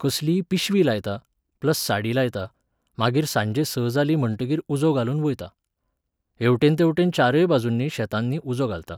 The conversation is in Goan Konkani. कसलीय पिशवी लायता, प्लस साडी लायता, मागीर सांजे स जालीं म्हणटगीर उजो घालून वयता. हेवटेन तेवटेन चारय बाजूंनी शेतांनी उजो घालता.